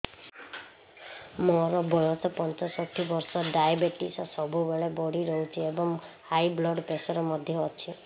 ମୋର ବୟସ ପଞ୍ଚଷଠି ବର୍ଷ ଡାଏବେଟିସ ସବୁବେଳେ ବଢି ରହୁଛି ଏବଂ ହାଇ ବ୍ଲଡ଼ ପ୍ରେସର ମଧ୍ୟ ଅଛି